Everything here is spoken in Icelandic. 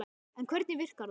En hvernig virkar það?